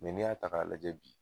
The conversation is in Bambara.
Ni y'a ta k'a lajɛ bi